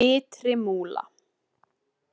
Ytri Múla